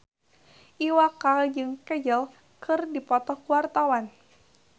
Iwa K jeung Kajol keur dipoto ku wartawan